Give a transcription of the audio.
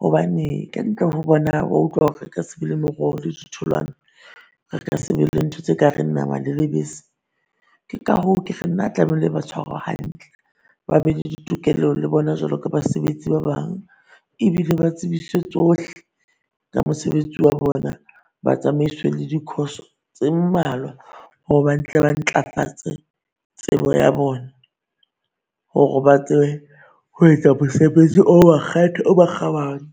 Hobane kantle ho bona o a utlwa hore ka se be le meroho le ditholwana. Re ka sebe le ntho tse kareng nama le lebese. Ke ka hoo ke re nna, tlamehile ba tshwarwe hantle ba be le ditokelo le bona jwalo ka basebetsi ba bang. Ebile ba tsebiswe tsohle ka mosebetsi wa bona, ba tsamaiswe le di-course-o tse malwa ho ba tle ba ntlafatse tsebo ya bona hore ba tsebe ho etsa mosebetsi o makgethe o makgabane.